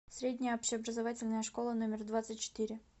средняя общеобразовательная школа номер двадцать четыре